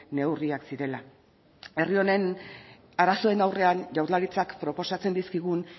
neurriak zirela herri honen arazoen aurrean jaurlaritzak proposatzen dizkigun